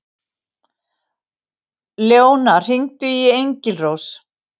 Leóna, hringdu í Engilrós.